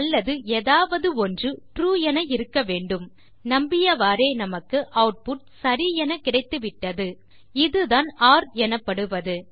அல்லது ஏதாவதொன்று ட்ரூ என இருக்க வேண்டும் நம்பியவாரே நமக்கு ஆட்புட் சரி எனக் கிடைத்துவிட்டது இது தான் ஒர் எனப்படுவது